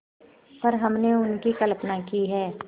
पर हमने उनकी कल्पना ही है